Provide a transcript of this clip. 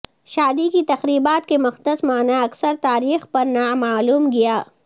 شادی کی تقریبات کے مقدس معنی اکثر تاریخ پر نامعلوم گیا